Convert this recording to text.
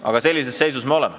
Aga sellises seisus me oleme.